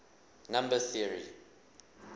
number theory